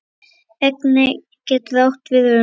Engey getur átt við um